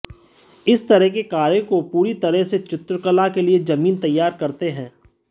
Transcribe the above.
इस तरह के कार्यों को पूरी तरह से चित्रकला के लिए जमीन तैयार करते हैं